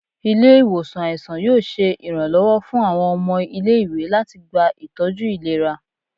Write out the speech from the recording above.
Ile-iwosan aisan yoo ṣe iranlọwọ fun awọn ọmọ ile-iwe lati gba itọju ilera